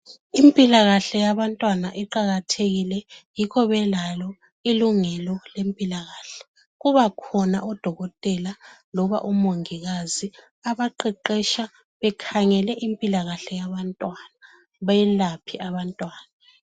Impilakahle yabantwana iqakathekille yikho belalo ilungelo lempilakahle. kubakhona odokotela loba umongikazi abaqeqesha ekhangele impilakahle yabantwana beyelaphe abantwana